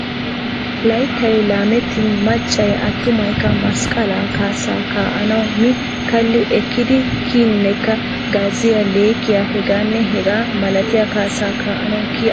Layittay laamettin maccay attumayikka masqalaa kaassaa kaa'anawu mi kalli ekkidi kiyinnekka gazziya, leekkiya hegaanne hegaa malatiya kaassa kaa'anawu kiyi agoosona.